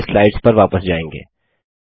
पहले स्लाइड्स पर वापस जायेंगे